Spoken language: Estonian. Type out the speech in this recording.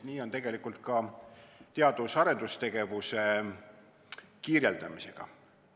Nii on tegelikult ka teadus- ja arendustegevuse kirjeldamisega.